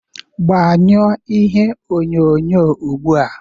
Gbanyụọ ihe onyonyo ugbu a!